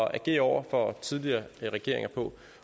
at agere over for tidligere regeringer på